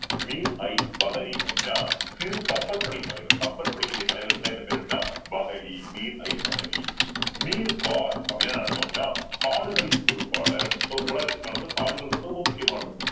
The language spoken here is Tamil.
அப்படின்னா சிறு கப்பற்படை தலைவர் கப்பற்படையினுடைய தலைவருக்குதான் என்ன பேரு அப்படின்னா அப்படின்னா என்ன அர்த்தம் அப்படின்னா காடுகளின் பொறுப்பாளர் so முகலாயர்கள் காலத்துல காடுகள் ரொம்ப ரொம்ப முக்கியமானது